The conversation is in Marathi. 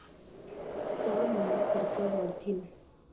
त्यामुळे खर्च वाढतील.